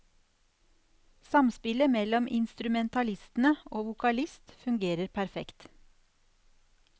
Samspillet mellom instrumentalistene og vokalist fungerer perfekt.